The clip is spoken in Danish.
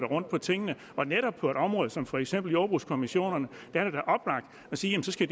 rundt på tingene netop på et område som for eksempel jordbrugskommissionerne at sige at de skal